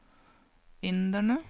inderne